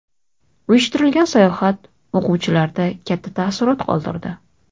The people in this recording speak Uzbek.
Uyushtirilgan sayohat o‘quvchilarda katta taassurot qoldirdi.